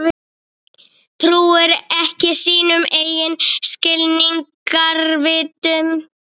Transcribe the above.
Trúir ekki sínum eigin skilningarvitum.